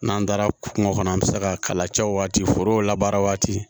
N'an taara kungo kɔnɔ an bɛ se ka kala cɛ waatiw labaara waati